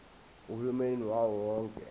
uhulumeni wawo wonke